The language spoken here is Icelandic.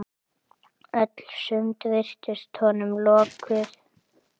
Öll sund virtust honum lokuð.